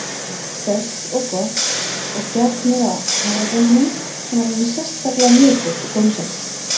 sterkt og gott- og gætt mér á hafragrautnum sem var alveg sérstaklega mjúkur og gómsætur.